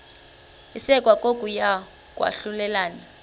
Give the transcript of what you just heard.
isekwa kokuya kwahlulelana